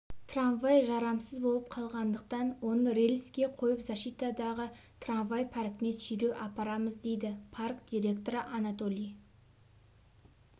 трамвай жарамсыз болып қалғандықтан оны рельске қойып защитадағы трамвай паркіне сүйреп апарамыз дейді парк директоры анатолий